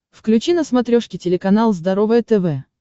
включи на смотрешке телеканал здоровое тв